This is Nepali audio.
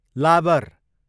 लाबर